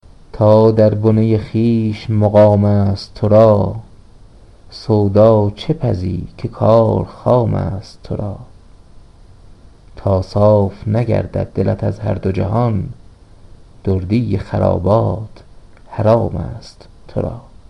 تا در بنه خویش مقام است ترا سودا چه پزی که کار خام است ترا تا صاف نگردد دلت از هر دوجهان دردی خرابات حرام است ترا